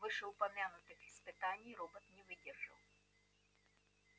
вышеупомянутых испытаний робот не выдерживает